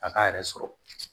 A k'a yɛrɛ sɔrɔ